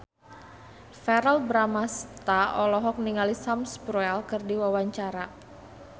Verrell Bramastra olohok ningali Sam Spruell keur diwawancara